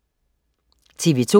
TV2: